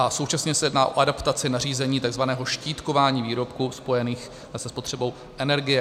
A současně se jedná o adaptaci nařízení tzv. štítkování výrobků spojených se spotřebou energie.